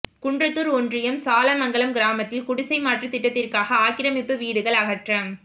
குன்றத்தூர் ஒன்றியம் சாலமங்கலம் கிராமத்தில் குடிசை மாற்று திட்டத்திற்காக ஆக்கிரமிப்பு வீடுகள் அகற்றம்